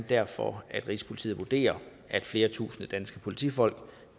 derfor at rigspolitiet vurderer at flere tusinde danske politifolk